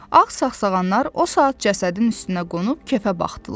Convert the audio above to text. Ağ sağsağanlar o saat cəsədin üstünə qonub kefə baxdılar.